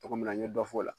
Togo min na n ye dɔ fɔ o la